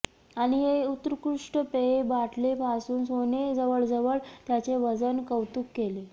आणि हे उत्कृष्ट पेय बाटली पासून सोने जवळजवळ त्याचे वजन कौतुक केले